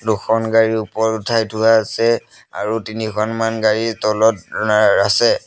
দুখন গাড়ী ওপৰত উঠাই থোৱা আছে আৰু তিনিখনমান গাড়ী তলত ৰা আছে।